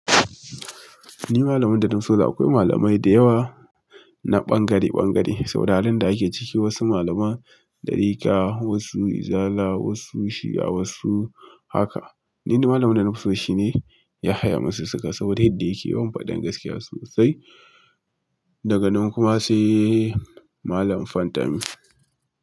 Ni malamin da na fi so da akwai malamai da yawa. Na ɓangare-ɓangare, saboda halin da ake ciki wasu malaman ɗarika, wasu izala, wasu shi'a, wasu haka. Ni dai malamin da na fi so shine ya Yahaya masussuka saboda yadda yake yawan faɗan gaskiya sosai. Daga nan kuma sai malam Fantami.